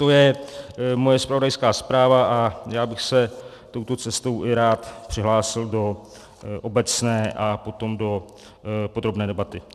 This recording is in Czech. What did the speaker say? To je moje zpravodajská zpráva a já bych se touto cestou rád přihlásil i do obecné a potom do podrobné debaty.